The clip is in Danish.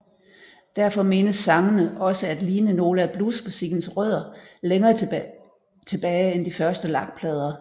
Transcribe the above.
Derfor menes sangene også at ligne noget af bluesmusikkens rødder længere tilbage end de første lakplader